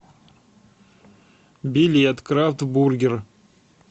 билет крафт бургер